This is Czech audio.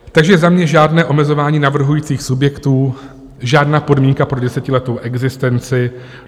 Takže za mě žádné omezování navrhujících subjektů, žádná podmínka pro desetiletou existenci.